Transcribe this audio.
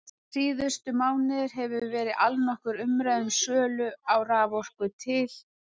Síðustu mánuði hefur verið allnokkur umræða um sölu á raforku til